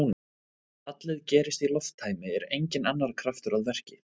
Ef fallið gerist í lofttæmi er enginn annar kraftur að verki.